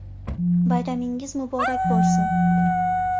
Bayramingiz muborak bo‘lsin!”